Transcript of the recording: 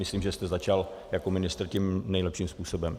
Myslím, že jste začal jako ministr tím nejlepším způsobem.